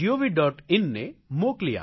in ને મોકલી આપો